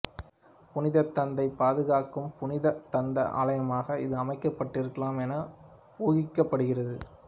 புனித தந்தத்தைப் பாதுகாக்கும் புனித தந்த ஆலயமாக இது அமைக்கப்பட்டிருக்கலாம் என ஊகிக்கப்படுகின்றது